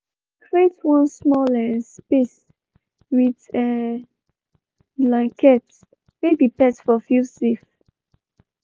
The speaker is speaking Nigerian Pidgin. she been create one small um space with blankets make the pet for feel safe.